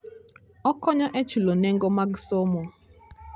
Okonyo e chulo nengo mar somo.